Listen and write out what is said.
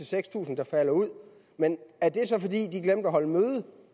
seks tusind der falder ud men er det så fordi de glemte at holde møde